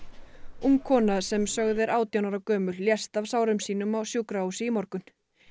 ung kona sem sögð er átján ára gömul lést af sárum sínum á sjúkrahúsi í morgun